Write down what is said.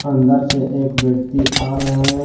अंदर से एक व्यक्ति आ रहे हैं।